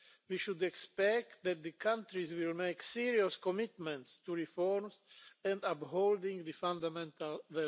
We should expect that the countries will make serious commitments to reforms and to upholding the fundamental values.